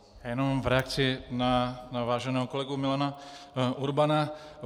Jenom v reakci na váženého kolegu Milana Urbana.